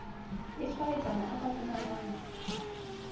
a tshwaetsang a ka fumanwang